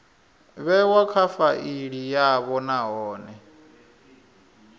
vhewa kha faili yavho nahone